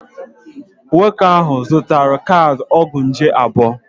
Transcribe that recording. Nwoke ahụ zụtara kaadị ọgwụ nje abụọ.